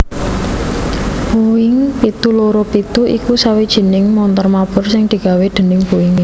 Boeing pitu loro pitu iku sawijining montor mabur sing digawé déning Boeing